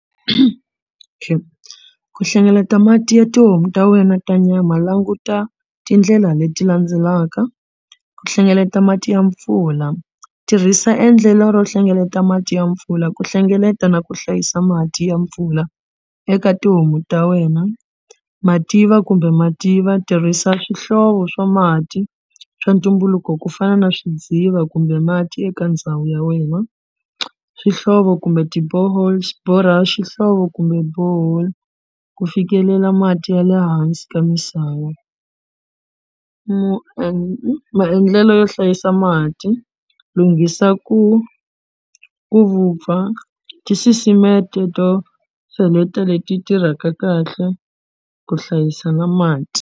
Okay ku hlengeleta mati ya tihomu ta wena ta nyama languta tindlela leti landzelaka ku hlengeleta mati ya mpfula tirhisa endlelo ro hlengeleta mati ya mpfula ku hlengeleta na ku hlayisa mati ya mpfula eka tihomu ta wena mativa kumbe mativa tirhisa swihlovo swa mati swa ntumbuluko ku fana na swidziva kumbe mati eka ndhawu ya wena swihlovo kumbe ti-boreholes borha xihlovo kumbe borehole ku fikelela mati ya le hansi ka misava maendlelo yo hlayisa mati lunghisa ku ku vupfa tisisimeto to cheleta leti tirhaka kahle ku hlayisa na mati.